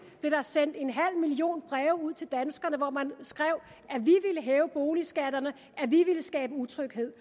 blev der sendt en halv million breve ud til danskerne hvori man skrev at hæve boligskatterne at vi ville skabe utryghed